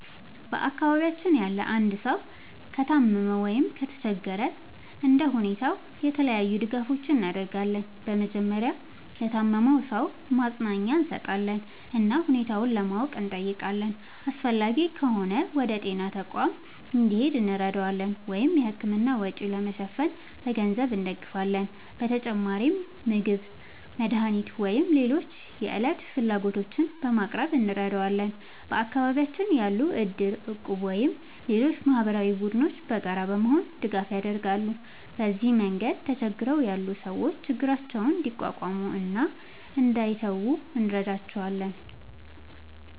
በአካባቢያችን ያለ አንድ ሰው ከታመመ ወይም ከተቸገረ እንደ ሁኔታው የተለያዩ ድጋፎችን እናደርጋለን። በመጀመሪያ ለታመመው ሰው ማጽናኛ እንሰጣለን እና ሁኔታውን ለማወቅ እንጠይቃለን። አስፈላጊ ከሆነ ወደ ጤና ተቋም እንዲሄድ እንረዳዋለን ወይም የሕክምና ወጪ ለመሸፈን በገንዘብ እንደግፋለን። በተጨማሪም ምግብ፣ መድኃኒት ወይም ሌሎች የዕለት ፍላጎቶችን በማቅረብ እንረዳዋለን። በአካባቢያችን ያሉ እድር፣ እቁብ ወይም ሌሎች ማህበራዊ ቡድኖችም በጋራ በመሆን ድጋፍ ያደርጋሉ። በዚህ መንገድ ተቸግረው ያሉ ሰዎች ችግራቸውን እንዲቋቋሙ እና እንዳይተዉ እንረዳቸዋለን።